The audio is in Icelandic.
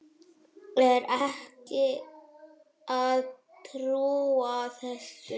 Er ekki að trúa þessu.